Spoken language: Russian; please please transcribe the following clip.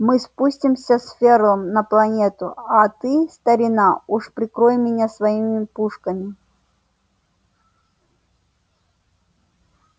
мы спустимся с ферлом на планету а ты старина уж прикрой меня своими пушками